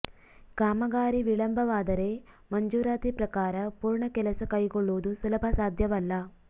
ಕಾಮಗಾರಿ ವಿಳಂಬವಾದರೆ ಮಂಜೂರಾತಿ ಪ್ರಕಾರ ಪೂರ್ಣ ಕೆಲಸ ಕೈಗೊಳ್ಳುವುದು ಸುಲಭ ಸಾಧ್ಯವಲ್ಲ